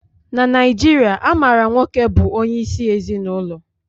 Na Naijiria, a maara nwoke bụ onyeisi ezinụlọ